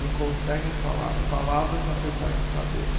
Não conseguem falar as palavras apesar de saber.